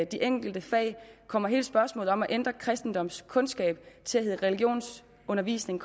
de enkelte fag kommer hele spørgsmålet om at ændre kristendomskundskab til at hedde religionsundervisning